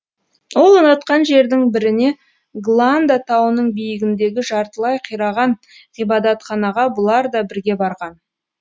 ол ұнатқан жердің біріне гланда тауының биігіндегі жартылай қираған ғибадатханаға бұлар да бірге барған